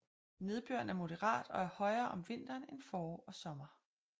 Nedbøren er moderat og er højere om vinteren end forår og sommer